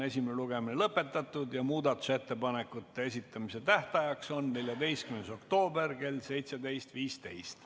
Esimene lugemine on lõpetatud ja muudatusettepanekute esitamise tähtajaks on 14. oktoober kell 17.15.